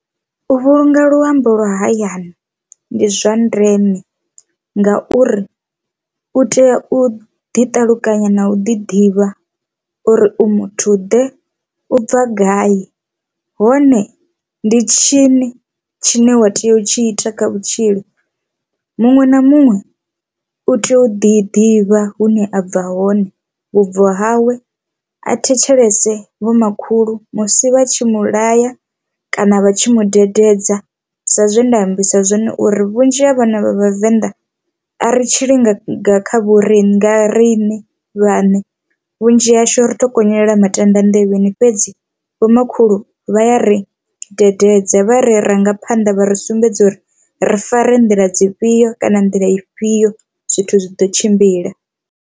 U vhulunga luambo lwa hayani ndi zwa ndeme ngauri u tea u ḓi ṱalukanya na u ḓi ḓivha uri u muthu ḓe u bva gai hone ndi tshini tshine wa tea u tshi ita kha vhutshilo. Muṅwe na muṅwe u tea u ḓi ḓivha hune a bva hoṋe vhubvo hawe a thetshelese vho makhulu musi vha tshi mu laya kana vha tshi mu dededza sa zwe nda ambisa zwone uri vhunzhi ha vhana vha vhavenḓa a ri tshili nga kha vho riṋe nga riṋe vhaṋe, vhunzhi hashu ri to konyolela matanda nḓevheni fhedzi vho makhulu vha ya ri dededza vha re rangaphanḓa vha ri sumbedza uri ri fare nḓila dzifhio kana nḓila ifhio zwithu zwi ḓo tshimbila.